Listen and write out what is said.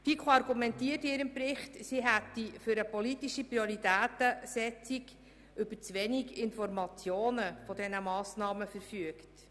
Die FiKo argumentiert in ihrem Bericht, sie hätte für eine politische Prioritätensetzung über zu wenige Informationen zu diesen Massnahmen verfügt.